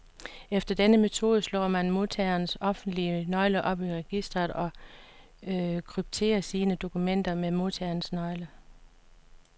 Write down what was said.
Efter denne metode slår man modtagerens offentlige nøgle op i registret, og krypterer sine dokumenter med modtagerens nøgle.